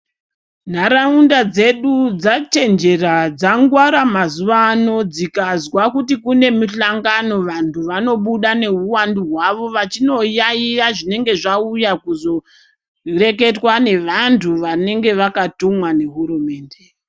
Nharaunda dzedu dzachinjera dzangwara mazuva ano dzikazwa kuti kune muhlangano vantu vanobuda neywandu hwavo vachinoyayiya zvinenge zvauya kuzoreketwa ngevantu vanenge vakatumwa nehurumende.